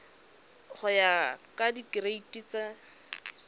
go ya ka direiti tsa